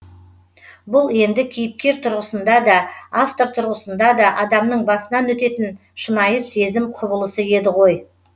бұл енді кейіпкер тұрғысында да автор тұрғысында да адамның басынан өтетін шынайы сезім құбылысы еді ғой